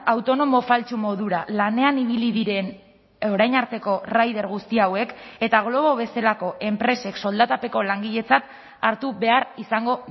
autonomo faltsu modura lanean ibili diren orain arteko rider guzti hauek eta glovo bezalako enpresek soldatapeko langiletzat hartu behar izango